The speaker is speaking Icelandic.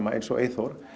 eins og Eyþór